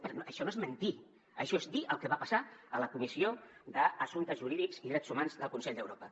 però això no és mentir això és dir el que va passar a la comissió d’assumptes jurídics i drets humans del consell d’europa